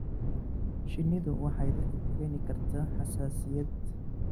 Shinnidu waxay dadka ku keeni kartaa xasaasiyad.